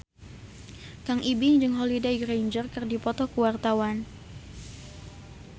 Kang Ibing jeung Holliday Grainger keur dipoto ku wartawan